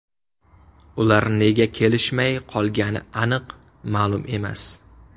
Ular nega kelishmay qolgani aniq ma’lum emas.